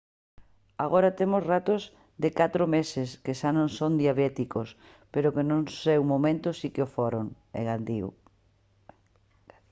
agora temos ratos de 4 meses que xa non son diabéticos pero que no seu momento si que o foron engadiu